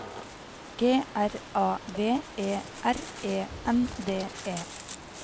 G R A V E R E N D E